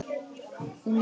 Hún málaði.